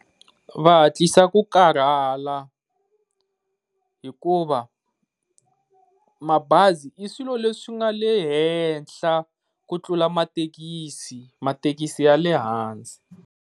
Va hatlisa ku karhala hikuva mabazi i swilo leswi nga le henhla ku tlula mathekisi, mathekisi ya lehhansi.